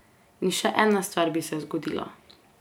In še ena stvar bi se zgodila.